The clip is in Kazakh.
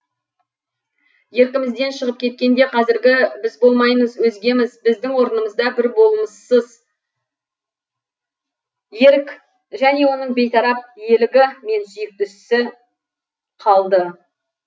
еркімізден шығып кеткенде қазіргі біз болмаймыз өзгеміз біздің орнымызда бір болмыссыз ерік және оның бейтарап иелігі мен сүйікті ісі қалды